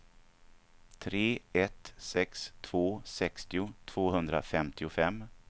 tre ett sex två sextio tvåhundrafemtiofem